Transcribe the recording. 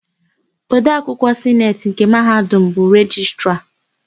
Odeakwụkwọ Sineti nke Mahadum bụ Rejistra.